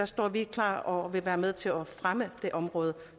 står vi klar og vil være med til at fremme det område